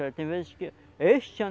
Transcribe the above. Tem vezes que, este ano